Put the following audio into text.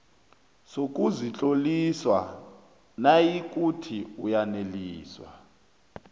sokuzitlolisa nayikuthi uyaneliswa